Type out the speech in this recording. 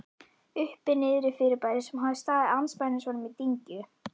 Uppi-Niðri-fyrirbæri, sem hafði staðið andspænis honum í dyngju